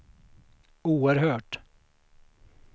oerhört